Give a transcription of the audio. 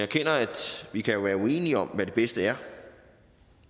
at vi jo kan være uenige om hvad det bedste er